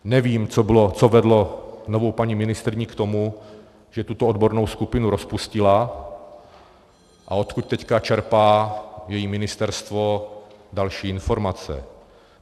Nevím, co vedlo novou paní ministryni k tomu, že tuto odbornou skupinu rozpustila, a odkud teď čerpá její ministerstvo další informace.